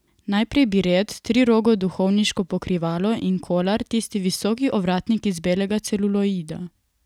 Najprej biret, trirogo duhovniško pokrivalo, in kolar, tisti visoki ovratnik iz belega celuloida.